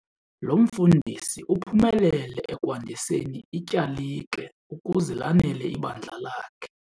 Lo mfundisi uphumelele ekwandiseni ityalike ukuze lanele ibandla lakhe.